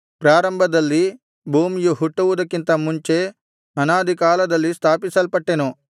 ಪ್ರಾರಂಭದಲ್ಲಿ ಭೂಮಿಯು ಹುಟ್ಟುವುದಕ್ಕಿಂತ ಮುಂಚೆ ಅನಾದಿಕಾಲದಲ್ಲಿ ಸ್ಥಾಪಿಸಲ್ಪಟ್ಟೆನು